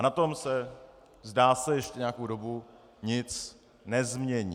A na tom se, zdá se, ještě nějakou dobu nic nezmění.